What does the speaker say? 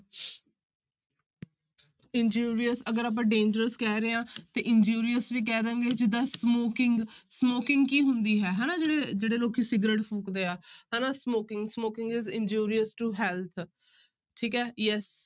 Injurious ਅਗਰ ਆਪਾਂ dangerous ਕਹਿ ਰਹੇ ਹਾਂ ਤੇ injurious ਵੀ ਕਹਿ ਦੇਵਾਂਗਾ ਜਿੱਦਾਂ smoking, smoking ਕੀ ਹੁੰਦੀ ਹੈ ਹਨਾ ਜਿਹੜੇ ਜਿਹੜੇ ਲੋਕੀ ਸਿਗਰਟ ਫੂਕਦੇ ਆ ਹਨਾ smoking smoking is injurious to health ਠੀਕ ਹੈ yes